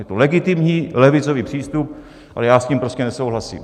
Je to legitimní levicový přístup, ale já s tím prostě nesouhlasím.